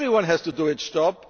Everyone has to do